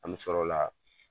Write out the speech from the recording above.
An bɛ sɔr'o la